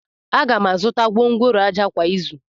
Aga m azụta gwongworo ájá kwa izu.